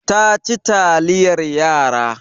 Ta ci taliyar yara.